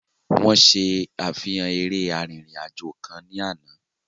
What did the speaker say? Wọ́n ṣe àfihàn eré arìnrìn-àjò kan ní àná.